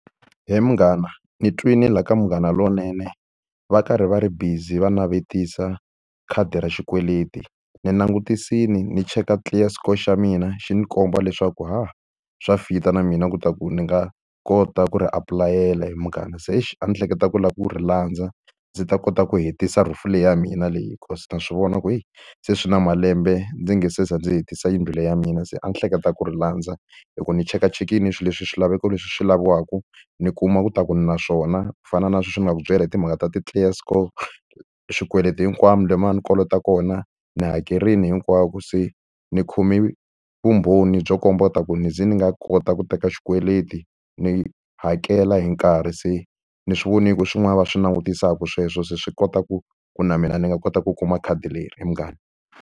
He munghana ni twile laha ka Munghana Lonene va karhi va ri busy va navetisa khadi ra xikweleti. Ni langutisile ni cheka clear score xa mina xi ndzi komba leswaku ha swa fit-a na mina leswaku ni nga kota ku ri apulayela he munghana. Se exi a ni hleketa ku lava ku ri landza, ndzi ta kota ku hetisa roof-u leyi ya mina leyi because na swi vona ku heyi, se swi na malembe ndzi nge se za ndzi hetisa yindlu leyi ya mina se a ni hleketa ku ri landza. Hikuva ndzi chekachekile swilo swilaveko leswi swi laviwaka, ni kuma leswaku ni na swona. Ku fana na sweswi ni nga ku byela hi timhaka ta ti-clear score, swikweleti hinkwaswo laha a ni kolota kona ndzi hakerile hinkwavo. Se ni khome vumbhoni byo komba leswaku ni ze ni nga kota ku teka xikweleti ni hakela hi nkarhi, se ni swi vonile ku i swin'wana va swi langutisaka sweswo. Se swi kota ku ku na mina ni nga kota ku kuma khadi leri he munghana.